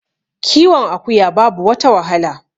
kiwon akuya babu wata wahala